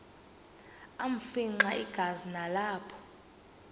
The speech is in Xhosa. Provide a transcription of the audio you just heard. afimxa igazi nalapho